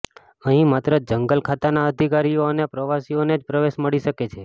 અહીં માત્ર જંગલ ખાતાના અધિકારીઓ અને પ્રવાસીઓને જ પ્રવેશ મળી શકે છે